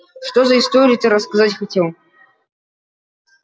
что за историю ты рассказать хотел